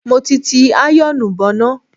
Mo ti ti àyọ̀ọ̀nù bọná.